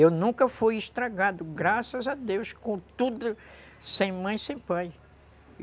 Eu nunca fui estragado, graças a Deus, com tudo, sem mãe, sem pai.